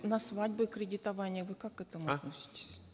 на свадьбы кредитование вы как к этому относитесь